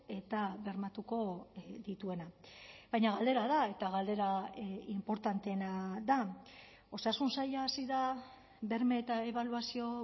eta bermatuko dituena baina galdera da eta galdera inportanteena da osasun saila hasi da berme eta ebaluazio